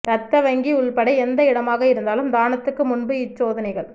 ரத்த வங்கி உள்பட எந்த இடமாக இருந்தாலும் தானத்துக்கு முன்பு இச் சோதனைகள்